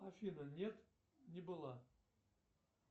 афина нет не была